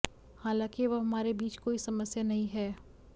हालांकि अब हमारे बीच कोई समस्या नहीं है